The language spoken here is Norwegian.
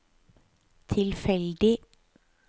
tilfeldig